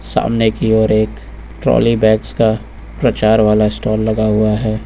सामने की ओर एक ट्रॉली बैग्स का प्रचार वाला स्टाल लगा हुआ है।